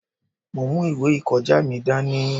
Mo mú ìwé ìkọjá mi dání.